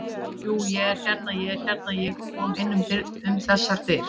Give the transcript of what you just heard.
Jú, ég hérna. ég er hérna. ég kom inn um þessar dyr.